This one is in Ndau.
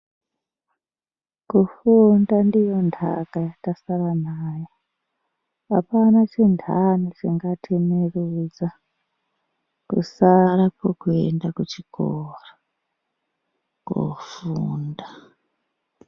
Kufunda ndiyo ntaka yatasara nayo. Apana chintani chingatimirudza, kusara kwekuenda kuchikora, koofunda.